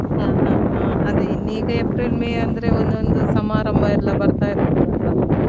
ಹ ಹ ಹಾ ಅದೇ ಇನ್ ಈಗ April, May ಅಂದ್ರೆ ಒಂದೊಂದು ಸಮಾರಂಭ ಎಲ್ಲಾ ಬರ್ತಾ ಇರ್ತದೆ ಅಲ್ವಾ.